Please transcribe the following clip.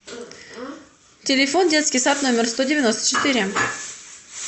телефон детский сад номер сто девяносто четыре